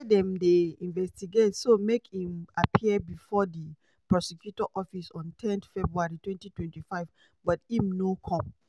wey dem dey investigate so make im appear bifor di prosecutor office on ten february 2025 but im no come.